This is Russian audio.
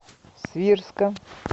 свирска